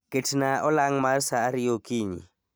Ketnaa olang' mar saa ariyo okinyi